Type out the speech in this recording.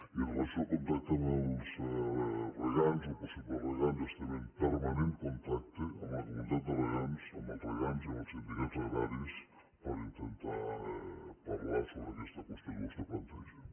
i amb relació al contacte amb els regants o possibles regants estem en permanent contacte amb la comunitat de regants amb els regants i amb els sindicats agraris per intentar parlar sobre aquesta qüestió que vostè planteja